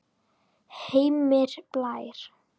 Heimir Blær.